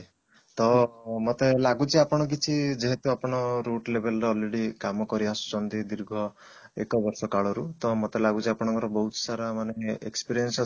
ତ ମତେ ଲାଗୁଛି ଆପଣ କିଛି ଯେହେତୁ ଆପଣ ବହୁତ level ର already କାମ କରିଆସୁଛନ୍ତି ଦୀର୍ଘ ଏକ ବର୍ଷ କାଳ ରୁ ତ ମତେ ଲାଗୁଛି ଆପଣଙ୍କର ବହୁତ ସାରା ମାନେ experience